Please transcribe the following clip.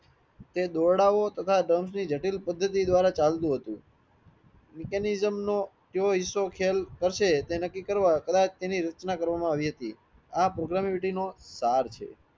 તે દોરડાંઓ તથા જટિલ પદ્ધતિ દ્વારા ચાતુ હતું mechanism નો જો હેસો ખેલ કરશે તે નકી કરવા કદાચ તેની રચના કરવામાં આવી હતી આ probability નો સાર છે